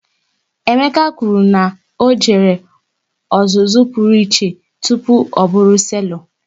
Emeka kwụrụ na ọ jere ọzụzụ pụrụ iche tụpụ ọ bụrụ selọ